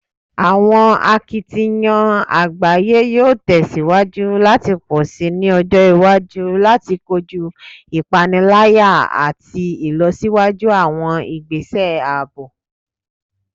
Awọn akitiyan agbaye yoo tẹsiwaju lati pọ si ni ọjọ iwaju lati koju ipanilaya ati ilọsiwaju awọn igbese aabo